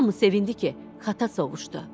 Hamı sevindi ki, xata sovuşdu.